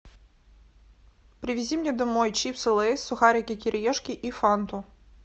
привези мне домой чипсы лейс сухарики кириешки и фанту